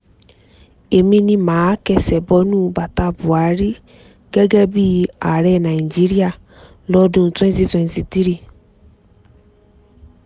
èmi ni mà á kẹ́sẹ̀ bo bàtà buhari gẹ́gẹ́ bíi ààrẹ nàíjíríà lọ́dún twenty twenty three